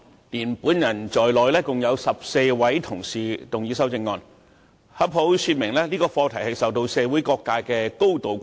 包括我在內，共有14位同事動議修正案，這正好說明這議題受到社會各界高度關注。